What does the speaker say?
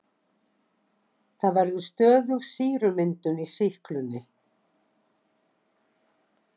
Þá verður stöðug sýrumyndun í sýklunni.